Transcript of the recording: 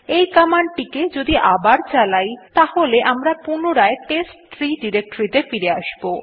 এই কমান্ড টিকে যদি আবার চালাই তাহলে আমরা পুনরায় টেস্টট্রি ডিরেক্টরীতে ফিরে আসব